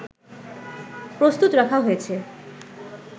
প্রস্তুত রাখা হয়েছে